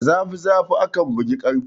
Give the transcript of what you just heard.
Da zafi zafi akan bugi ƙarfe.